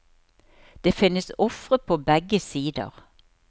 Det finnes ofre på begge sider.